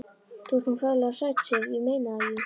Þú ert nú ferlega sæt, Sif. ég meina það. þú.